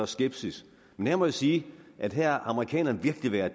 skepsis men her må jeg sige at her har amerikanerne virkelig været